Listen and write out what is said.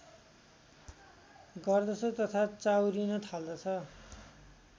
गर्दछ तथा चाउरिन थाल्दछ